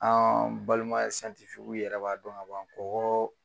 An balima ye yɛrɛ b'a dɔn kaban kɔgɔ.